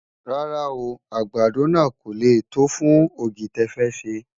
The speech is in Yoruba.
rárá o, àgbàdo nà kò lẹ tó fún ọ̀gì tẹ fé ṣé